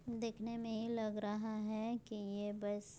देखने में ये लग रहा है कि ये बस--